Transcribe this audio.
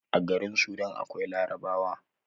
A garin sudan akwai larabawa